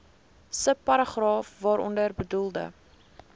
subparagraaf waaronder bedoelde